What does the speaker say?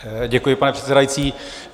Děkuji, pane předsedající.